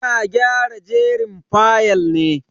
Ina gyara jerin fayal ne.